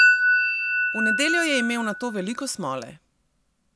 V nedeljo je imel nato veliko smole.